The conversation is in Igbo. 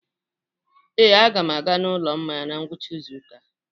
Ee, a ga m aga n'ụlọ mmanya na ngwụcha izu ụka a.